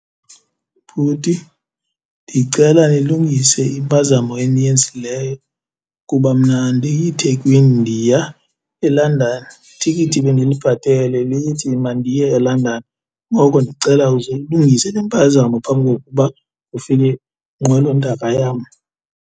Bhuti, ndicela nilungise impazamo eniyenzileyo kuba mna andiyiThekwini ndiya eLondon. Itikiti bendilibhatele lithi mandiye eLondon ngoko ndicela uze uyilungise le mpazamo phambi kokuba kufike inqwelontaka yam.